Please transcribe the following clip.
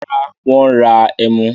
Rárá, wọ́n ra ẹmu.